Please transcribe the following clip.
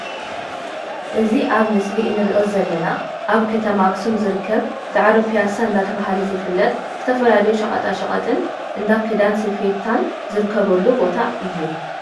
እዚ ኣብ ምስሊ እንርኦ ዘለና ኣብ ከተማ ኣክሱም ዝርከብ ዳዕሮ ፖያሳ እንዳተባሃለ ዝፍለጥ ዝተፈላለዩ ሸቀጣሸቀጥን እንዳ ክዳን ስፌታን ዝርከበሉ ቦታ እዩ።